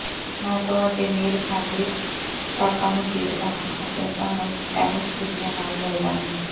ਮੈਂ ਤੁਹਾਡੇ ਮੇਲ ਖਾਂਦੇ ਸਾਕਾਂ ਨੂੰ ਦੇਖਦਾ ਹਾਂ ਅਤੇ ਤੁਹਾਨੂੰ ਟੈਨਿਸ ਜੁੱਤੀਆਂ ਨਾਲ ਮਿਲਦਾ ਹਾਂ